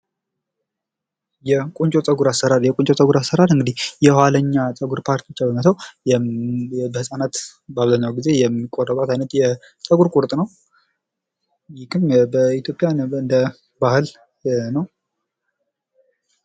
የቁንጮ ፀጉር አሰራር የቁንጮ ፀጉር አሰራር የኋላኛውን የፀጉር ፓርት ብቻ በመተው የህጻናት በአብዛኛው ጊዜ የሚቆረጧት አይነት የፀጉር ቁርጥ ነው። ይህም በኢትዮጵያ ልክ እንደ ባህል ነው።